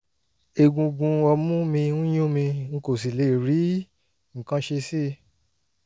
egungun ọmú mi ń yún mi n kò sì lè rí nǹkan ṣe sí i